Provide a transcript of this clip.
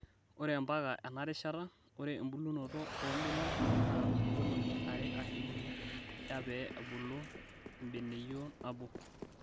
Ore mpaka ena rishata, ore embulunoto oo mbenek naa ngolong'I are aashu uni eya pee ebulu embeneyio nabo.